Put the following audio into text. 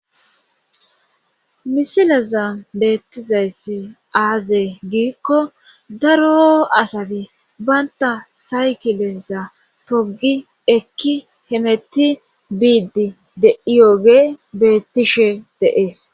misileza beettizayssi aazey giikko daro asati baynta saykileza togi ekki hemeti biidi deiyoge beettishe deees